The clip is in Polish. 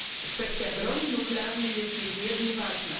Kwestia broni nuklearnej jest niezmiernie ważna.